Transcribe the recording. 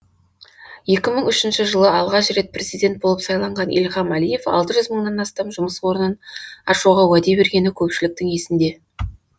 екі мың үшінші жылы алғаш рет президент болып сайланған ильхам әлиев алты жүз мыңнан астам жұмыс орнын ашуға уәде бергені көпшіліктің есінде